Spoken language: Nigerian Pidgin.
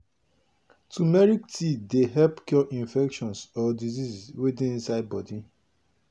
turmeric tea dey help cure infection or disease wey dey inside body.